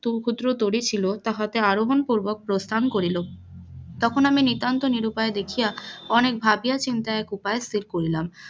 খুদ্র তরি ছিল তাহাতে আরহন পুর্বক প্রস্থান করিল, তখন আমি নিতান্ত নিরুপায় দেখিয়া অনেক ভাবিয়া চিন্তিয়া এক উপায় স্থির করিলাম,